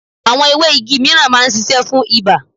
Àwọn ewé igi míràn máa ń sisẹ́ fún ibà